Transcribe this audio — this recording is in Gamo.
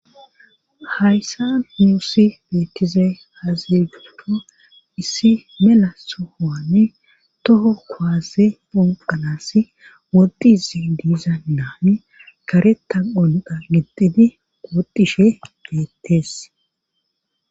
Haysan nuusi beettizay aazee giikko issi mela sohuwani toho kuwaase phonqanassi woxxizi diza na7ay karetta qonxxa gixxidi woxxishe beettes.